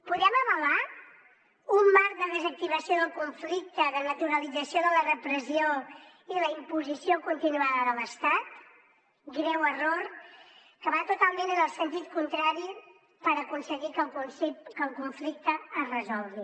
podem avalar un marc de desactivació del conflicte de naturalització de la repressió i la imposició continuada de l’estat greu error que va totalment en el sentit contrari per aconseguir que el conflicte es resolgui